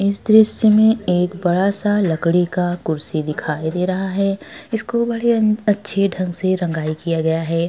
इस दृश्य में एक बड़ा सा लकड़ी का कुर्सी दिखाई दे रहा है इसको बड़े अच्छे ढंग से रंगाई किया गया है।